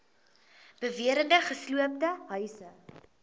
beweerde gesloopte huise